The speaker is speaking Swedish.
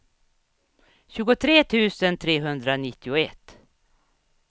tjugotre tusen trehundranittioett